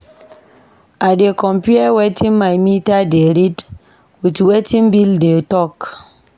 I dey compare wetin my meter dey read wit wetin bill dey tok.